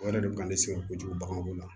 O yɛrɛ de ka ne sɛgɛn kojugu baganko la